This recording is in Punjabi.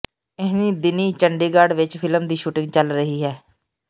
ਇਹੈੀਂ ਦਿਨੀਂ ਚੰਡੀਗੜ੍ਹ ਵਿਚ ਫ਼ਿਲਮ ਦੀ ਸ਼ੂਟਿੰਗ ਚੱਲ ਰਹੀ ਹੈ